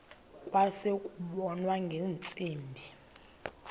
kwase kubonwa ngeentsimbi